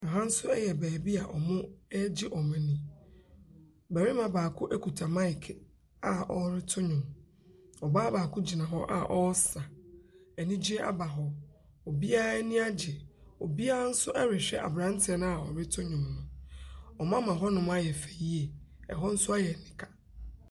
Aha nso yɛ baabi a wɔgye wɔn ani. Barima baako kita maike a ɔreto nnwom. Ↄbaa bbako gyina hɔ a ɔresa. Anigyeɛ aba hɔ. Obiara ani agye, obiara nso rehwɛ abranteɛ no a ɔreto nnwom no. Wɔama ɛhɔ ɛyɛ fɛ yie yie. Ↄhɔ nso ayɛ anika.